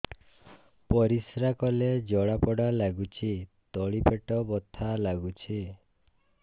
ପରିଶ୍ରା କଲେ ଜଳା ପୋଡା ଲାଗୁଚି ତଳି ପେଟ ବଥା ଲାଗୁଛି